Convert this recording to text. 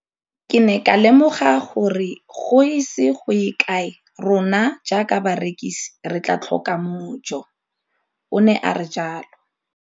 Ke ne ka lemoga gore go ise go ye kae rona jaaka barekise re tla tlhoka mojo, o ne a re jalo.